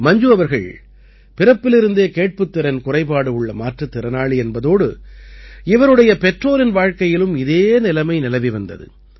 மஞ்சு அவர்கள் பிறப்பிலிருந்தே கேட்புத் திறன் குறைபாடு உள்ள மாற்றுத் திறனாளி என்பதோடு இவருடைய பெற்றோரின் வாழ்க்கையிலும் இதே நிலைமை நிலவி வந்தது